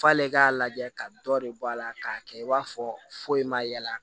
F'ale k'a lajɛ ka dɔ de bɔ a la k'a kɛ i b'a fɔ foyi ma yaala